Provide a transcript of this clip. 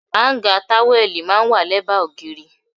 Áńgá táwẹ́lì máa ń wà lẹ́bàá ògiri.